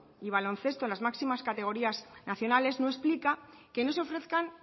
y baloncesto en las máximas categorías nacionales no explica que no se ofrezcan